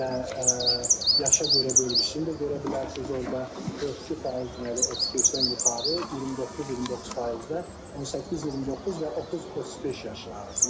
Və yaşa görə bölgüsünü də görə bilərsiniz, orda 42% deməli 35-dən yuxarı, 29-29% də 18-29 və 30-35 yaş arası.